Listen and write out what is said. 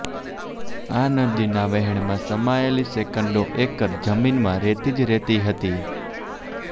આ નદીના વહેણમાં સમાયેલી સેંકડો એકર જમીનમાં રેતી જ રેતી હતી